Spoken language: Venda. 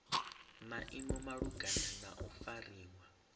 maimo malugana na u fariwa